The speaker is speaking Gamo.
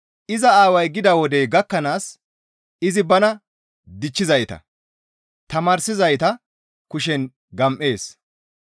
Iza aaway gida wodey gakkanaas izi bana dichchizayta, tamaarsizayta kushen gam7ees.